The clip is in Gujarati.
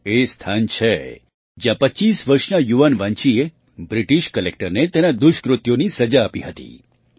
આ એ જ સ્થાન છે જ્યાં ૨૫ વર્ષના યુવાન વાન્ચીએ બ્રિટિશ કલેક્ટરને તેનાં દુષ્કૃત્યોની સજા આપી હતી